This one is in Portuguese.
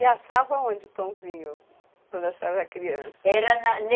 E assava onde o pãozinho, quando assava a criança? Era